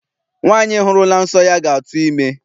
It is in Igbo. Nwaanyị hụrụla nsọ ya ga-atụ ime.